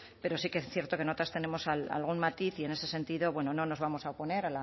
pero sí que es cierto que en otras tenemos algún matiz y en ese sentido bueno no nos vamos a oponer